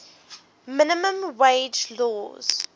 minimum wage laws